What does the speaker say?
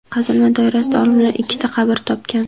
Qazilma doirasida olimlar ikkita qabr topgan.